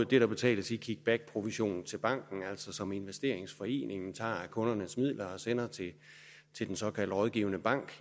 det der betales i kickbackprovision til banken altså det som investeringsforeningen tager af kundernes midler og sender til den såkaldt rådgivende bank